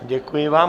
Děkuji vám.